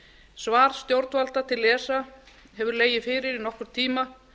svar stjórnvalda til esa hefur legið fyrir í nokkurn tíma